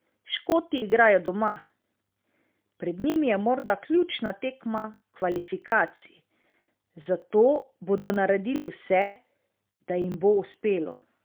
Škoti igrajo doma, pred njimi je morda ključna tekma kvalifikacij, zato bodo naredili vse, da jim bo uspelo.